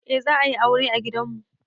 Eh za a yi aure a gidan mu.